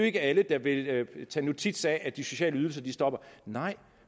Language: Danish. ikke alle vil tage notits af at de sociale ydelser stopper nej